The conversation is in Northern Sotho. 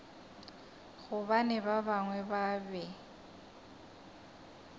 gobane ba bangwe ba be